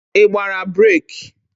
Ị gbara breeki?